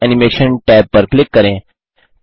text animation tab पर click करें